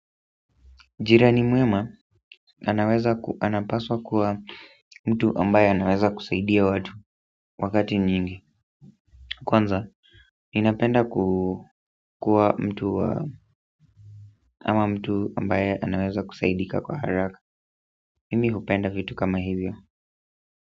Jirani mwema, anaweza anapaswa kuwa mtu ambaye anaweza kusaidia watu wakati nyingi kwanza, ninapenda kuwa mtu ambaye anaweza kusaidika kwa haraka mimi hupenda vitu kama hivyo.